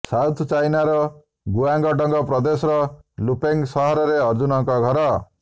south ଚାଇନାର Guangdong ପ୍ରଦେଶର Lufeng ସହରରେ ଅଜୁନଙ୍କ ଘର